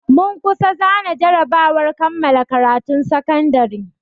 Mun kusa zana jarabawar kammala karatun sakandare.